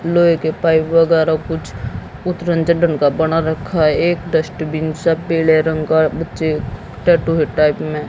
लोहे के पाइप वगैरा कुछ उतरन चडन का बना रखा है एक डस्टबिन सा पीले रंग का बच्चे टैटु है टाइप में--